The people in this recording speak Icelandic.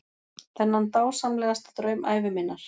Þennan dásamlegasta draum ævi minnar.